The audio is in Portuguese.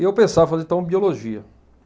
E eu pensava em fazer, então, biologia.